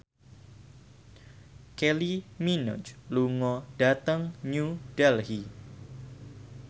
Kylie Minogue lunga dhateng New Delhi